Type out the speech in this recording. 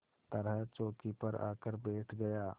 तरह चौकी पर आकर बैठ गया